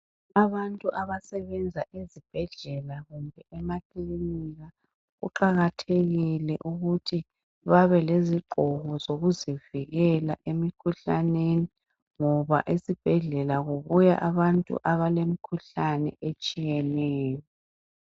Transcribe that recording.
Abantu abasebenza ezibhedlela kumbe emakilinika kuqakathekile ukuthi babe lezigqoko zokuzivikela emikhuhlaneni ngoba esibhedlela kubuya abantu abalemkhuhlane etshiyeneyo.